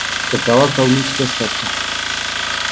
какова калмыцкая сказка